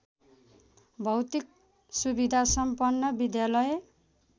भौतिक सुविधासम्पन्न विद्यालय